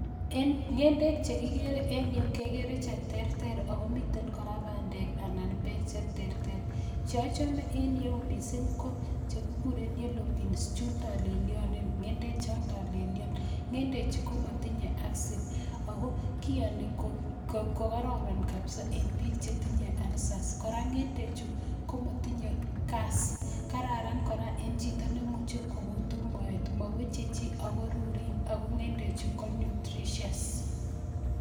En ng'endek che kigere en yu, kegeree che terter ago miten bandek anan bek che terter. Che ochome en yu mising ko che kiguren yellow beans chun tolelyon, ng'endek chon tolelyon. Ng'endechu komotinye acid ago kiyoni ko kororon kabisa en biik che tinye ulcers. Kora, ng'endechu komatinye gas kororon kora en chito nemuche kogutu moet, moweche chi ago ruruin ago ng'endechu ko nutritious.